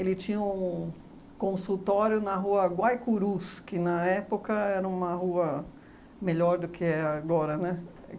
Ele tinha um consultório na rua Guaicurús, que, na época, era uma rua melhor do que é agora, né?